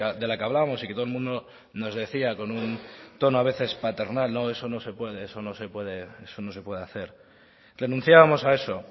de la que hablábamos y que todo el mundo nos decía con un tono a veces paternal no no eso no se puede eso no se puede hacer renunciábamos a eso